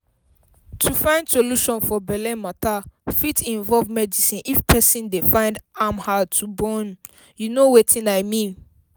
to find solution for belle matter fit involve medicine if person dey find am hard to bornyou know wetin i mean